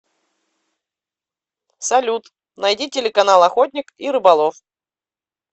салют найди телеканал охотник и рыболов